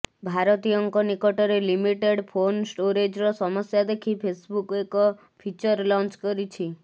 ଭାରତୀୟଙ୍କ ନିକଟରେ limited phone ଷ୍ଟୋରେଜର ସମସ୍ୟା ଦେଖି ଫେସବୁକ୍ ଏକ ଫିଚର ଲଞ୍ଚ କରିଛି